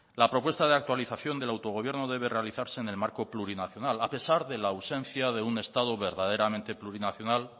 la propuesta de actualización de autogobierno debe realizarse en el marco plurinacional a pesar de la ausencia de un estado verdaderamente plurinacional